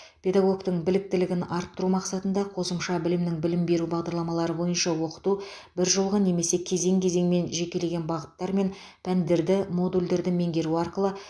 педагогтің біліктілігін арттыру мақсатында қосымша білімнің білім беру бағдарламалары бойынша оқыту бір жылғы немесе кезең кезеңмен жекелеген бағыттар мен пәндерді модульдерді меңгеру арқылы